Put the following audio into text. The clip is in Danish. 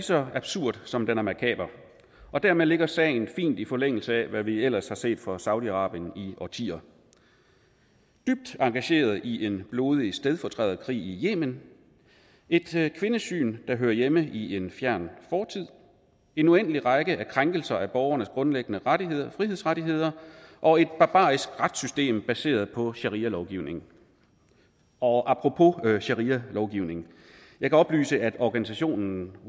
så absurd som den er makaber og dermed ligger sagen fint i forlængelse af hvad vi ellers har set fra saudi arabien i årtier dybt engageret i en blodig stedfortræderkrig i yemen et kvindesyn der hører hjemme i en fjern fortid en uendelig række krænkelser af borgernes grundlæggende frihedsrettigheder og et barbarisk retssystem baseret på sharialovgivning og apropos sharialovgivningen jeg kan oplyse at organisationen